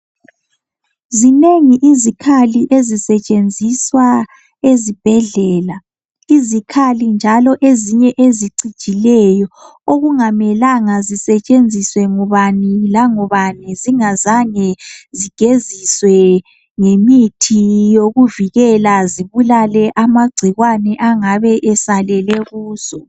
Zinengi izikhali ezisetshenziswa ezibhedlela, izikhali njalo ezinye ezicijileyo .Okungamelanga zisetshenziswe ngubani langubani zingazange zigeziswe ngemithi yokuvikela zibulale amagcikwane angabe esalele kuzo.